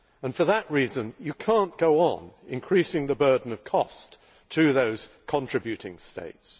For that reason, you cannot go on increasing the burden of cost to those contributing states.